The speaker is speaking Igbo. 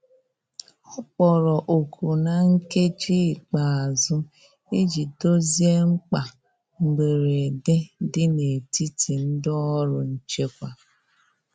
Ọ kpọrọ oku na nkeji ikpeazu ịjị dozie mkpa mgberede di n'etiti ndi ọrụ nchekwa